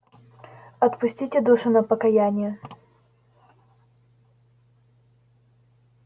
отпустите душу на покаяние